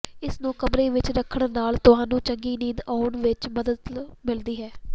ਇਸਨ੍ਹੂੰ ਕਮਰੇ ਵਿੱਚ ਰੱਖਣ ਨਾਲ ਤੁਹਾਨੂੰ ਚੰਗੀ ਨੀਂਦ ਆਉਣ ਵਿੱਚ ਮਦਦ ਮਿਲਦੀ ਹੈ